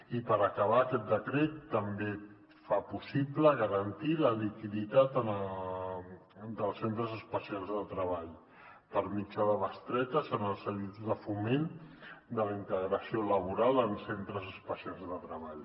i per acabar aquest decret també fa possible garantir la liquiditat dels centres especials de treball per mitjà de bestretes en els cedits de foment de la integració laboral en centres especials de treball